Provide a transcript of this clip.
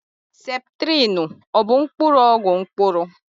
Septrịnụ ọ bụ mkpụrụ ọgwụ mkpụrụ?